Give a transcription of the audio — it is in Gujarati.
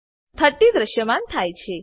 30 દ્રશ્યમાન થાય છે